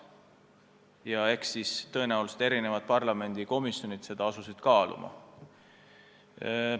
Ja eks erinevad parlamendikomisjonid seda on teinudki ja teevad.